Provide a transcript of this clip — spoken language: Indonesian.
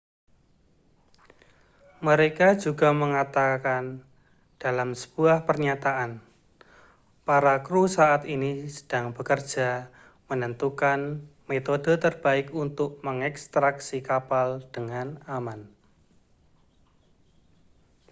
mereka juga mengatakan dalam sebuah pernyataan para kru saat ini sedang bekerja menentukan metode terbaik untuk mengekstraksi kapal dengan aman